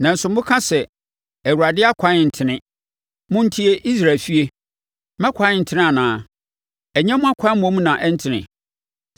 “Nanso moka sɛ, ‘ Awurade ɛkwan ntene.’ Montie, Israel efie, Me ɛkwan ntene anaa? Ɛnyɛ mo akwan mmom na ɛntene?